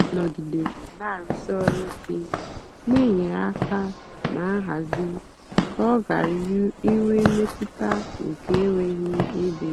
ọ́ nọ̀gídéré nà-àrụ̀sí ọ́rụ̀ íké nà-ènyérè áká nà nhazì kà ọ́ ghárá ínwé mmétụ́tà nkè énweghị́ ébé.